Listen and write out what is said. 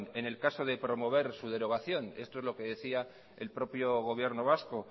en el caso de promover su derogación esto es lo que decía el propio gobierno vasco